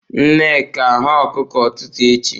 Nneka, hụọ okuko ututu echi!